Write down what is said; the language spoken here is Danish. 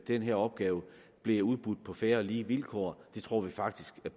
denne opgave bliver udbudt på fair og lige vilkår det tror vi faktisk at